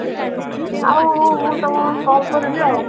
ଆଉ ତମକୁ call କରିବି ଆଉ